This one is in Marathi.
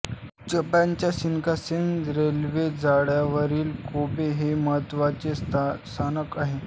जपानच्या शिनकान्सेन रेल्वे जाळ्यावरील कोबे हे एक महत्त्वाचे स्थानक आहे